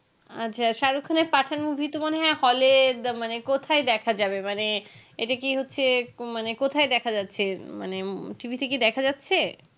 আচ্ছা সারুক খানের পাঠান movie তো মানে hall এ মানে কোথায় দেখা যাবে মানে এটা কি হচ্ছে মানে কোথায় যাচ্ছে মানে TV তে কি দেখা যাচ্ছে